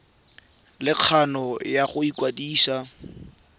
le kgano ya go ikwadisa